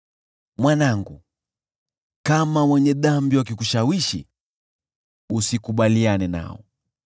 Mwanangu, kama wenye dhambi wakikushawishi, usikubaliane nao.